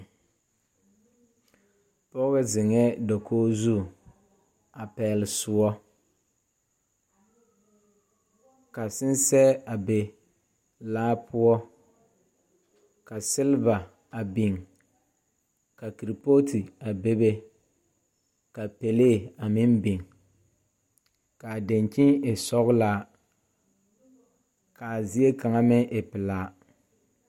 Pɔge zeŋɛɛ dakogo zu a pɛgele soɔ. Ka sensɛ a be laa poɔ. Ka seleba a biŋ ka kerepooti a bebe ka pelee a meŋ biŋ ka a daŋkyini e sɔgelaa. Ka zie kaŋa meŋ e pelaa.